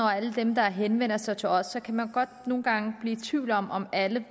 og alle dem der henvender sig til os kan man godt nogle gange blive i tvivl om om alle